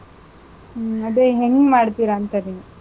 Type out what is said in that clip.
ಹ್ಮ್, ಅದೇ ಹೆಂಗ್ ಮಾಡ್ತಿರಾಂತ ನೀವ್?